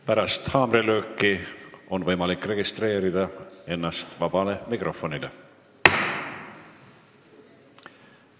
Pärast haamrilööki on võimalik ennast registreerida sõnavõtuks vaba mikrofoni voorus.